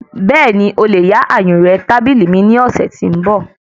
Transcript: Bẹ́ẹ̀ni,o lè yá ayùnré tábìlì mi ní ọ̀sẹ́ tí ń bọ̀.